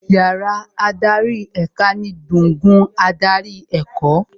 Yàrá adarí èka ni gbùngbùn adarí ẹ̀kọ́